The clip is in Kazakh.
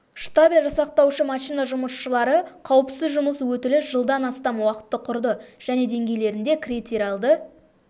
штабель жасақтаушы машина жұмысшылары қауіпсіз жұмыс өтілі жылдан астам уақытты құрды және деңгейлерінде критериалды